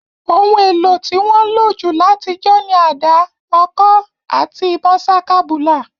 Oun èlo to won nlo jù látijọ́ ni ada, ọ̀kọ̀ àti ìbon sakabùlà